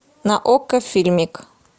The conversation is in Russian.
на окко фильмик